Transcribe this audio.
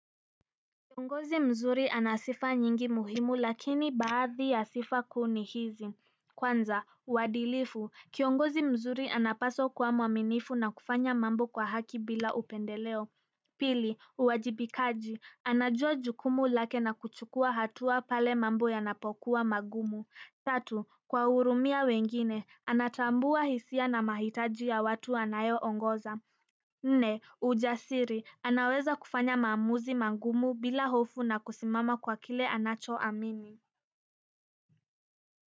Kiongozi mzuri anasifa nyingi muhimu lakini baadhi ya sifa kuu ni hizi. Kwanza, uadilifu, kiongozi mzuri anapaswa kuwa mwaminifu na kufanya mambo kwa haki bila upendeleo. Pili, uwajibikaji, anajua jukumu lake na kuchukua hatua pale mambo yanapokuwa magumu. Tatu, kuwahurumia wengine, anatambua hisia na mahitaji ya watu anayoongoza. Nne, ujasiri, anaweza kufanya maamuzi magumu bila hofu na kusimama kwa kile anachoamini.